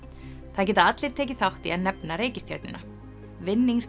það geta allir tekið þátt í að nefna reikistjörnuna